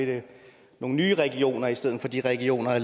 nogle nye regioner i stedet for de regioner